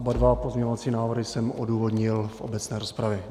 Oba pozměňovací návrhy jsem odůvodnil v obecné rozpravě.